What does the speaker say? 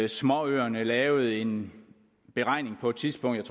småøerne lavede en beregning på et tidspunkt